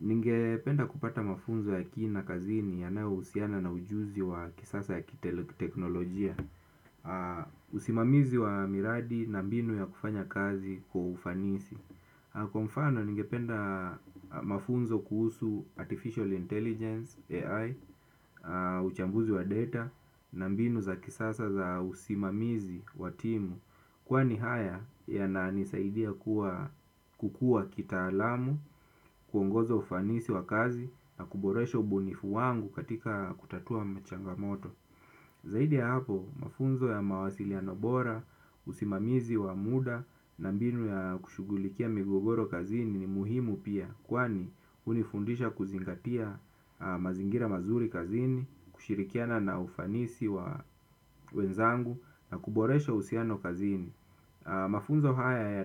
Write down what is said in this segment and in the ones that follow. Ningependa kupata mafunzo ya kina kazini yanayohusiana na ujuzi wa kisasa ya kiteknolojia. Usimamizi wa miradi na mbinu ya kufanya kazi kwa ufanisi. Kwa mfano ningependa mafunzo kuhusu artificial intelligence (AI), uchambuzi wa data na mbinu za kisasa za usimamizi wa timu. Kwani haya yananisaidia kukua kitaalamu, kuongoza ufanisi wa kazi na kuboresha ubunifu wangu katika kutatua machangamoto. Zaidi ya hapo, mafunzo ya mawasiliano bora, usimamizi wa muda na mbinu ya kushugulikia migogoro kazini ni muhimu pia, kwani hunifundisha kuzingatia mazingira mazuri kazini, kushirikiana na ufanisi wa wenzangu na kuboresha usiano kazini. Mafunzo haya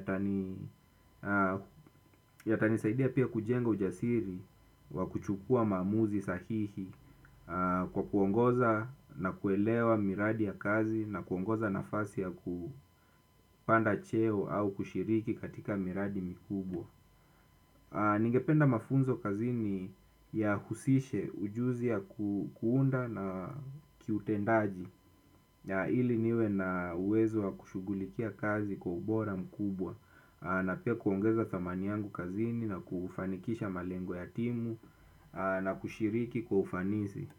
yatanisaidia pia kujenga ujasiri wa kuchukua maamuzi sahihi kwa kuongoza na kuelewa miradi ya kazi na kuongoza nafasi ya kupanda cheo au kushiriki katika miradi mikubwa. Ningependa mafunzo kazini yahusishe ujuzi ya kuunda na kiutendaji ili niwe na uwezo wa kushugulikia kazi kwa ubora mkubwa na pia kuongeza thamani yangu kazini na kufanikisha malengo ya timu na kushiriki kwa ufanisi.